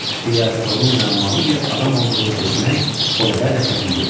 Fileas Foqun müəmmalı bir adam olduğunu sezmək o qədər də çətin deyildi.